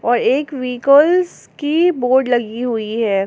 और एक व्हीकलस की बोर्ड लगी हुई है।